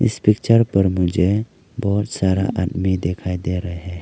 इस पिक्चर पर मुझे बहोत सारा आदमी दिखाई दे रहे --